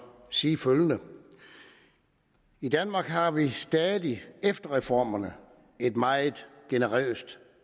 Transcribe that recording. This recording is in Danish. sige følgende i danmark har vi stadig efter reformerne et meget generøst